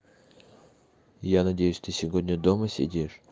я надеюсь ты сегодня дома сидишь